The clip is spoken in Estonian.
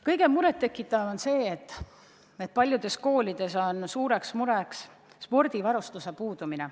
Suurt muret tekitab see, et paljudes koolides on suur probleem spordivarustuse puudumine.